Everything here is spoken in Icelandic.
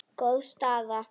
Góð staða.